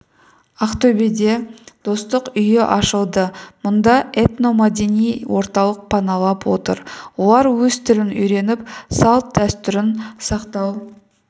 ақтөбеде достық үйі ашылды мұнда этно-мәдени орталық паналап отыр олар өз тілін үйреніп салт-дәстүрін сақтау